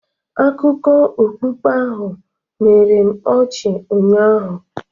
Akụkọ okpukpe ahụ mere m ọchị ụnyaahụ